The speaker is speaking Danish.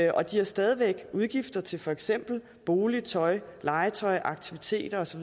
og de har stadig væk udgifter til for eksempel bolig tøj legetøj aktiviteter osv